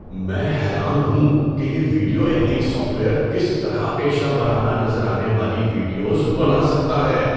میں حیران ہوں کہ یہ ویڈیو ایڈیٹنگ سافٹ ویئر کس طرح پیشہ ورانہ نظر آنے والی ویڈیوز بنا سکتا ہے۔